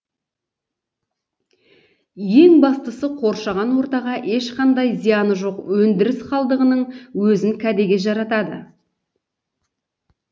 ең бастысы қоршаған ортаға ешқандай зияны жоқ өндіріс қалдығының өзін кәдеге жаратады